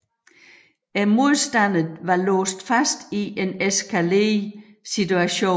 Modstanderne var låst fast i en eskalerende situation